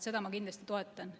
Seda ma kindlasti toetan.